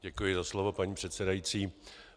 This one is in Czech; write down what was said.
Děkuji za slovo, paní předsedající.